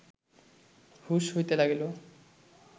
হুঁশ হইতে লাগিল